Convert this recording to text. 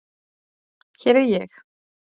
Hér er ég.